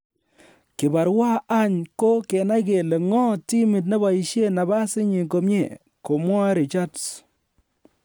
"Kibarua any ko kenai kele ng'o timit neboisien nabas inyin komie," komwae Richards